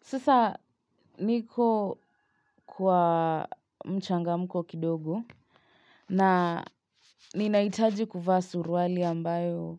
Sasa niko kwa mchangamko kidogo na ninaitaji kuvaa suruwali ambayo